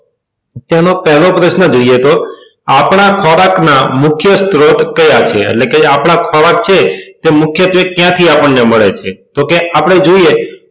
તેનો પેલો પ્રશ્ન જોઈએ તો આપણા ખોરાક ના મુખ્ય સ્ત્રોત કયા કયા એટલે કે આપદા ખોરાક છે તે મુખ્યત્વે ક્યાંથી આપણને મળે છે તો કે આપણે જોઈએ